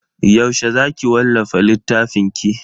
Yaushe za ki wallafa littafinki?